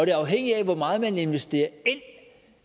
er afhængigt af hvor meget man investerer ind